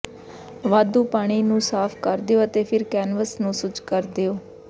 ਵਾਧੂ ਪਾਣੀ ਨੂੰ ਸਾਫ਼ ਕਰ ਦਿਓ ਅਤੇ ਫਿਰ ਕੈਨਵਸ ਨੂੰ ਸੁੱਜ ਕਰ ਦਿਉ